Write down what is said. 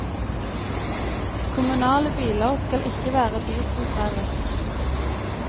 Kommunale biler skal ikke være dieseldrevet.